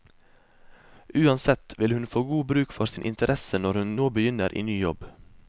Uansett vil hun få god bruk for sin interesse når hun nå begynner i ny jobb.